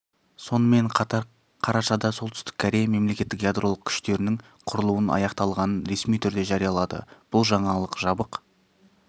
сонымен қатар қарашада солтүстік корея мемлекеттік ядролық күштердің құрылуын аяқтағанын ресми түрде жариялады бұл жаңалық жабық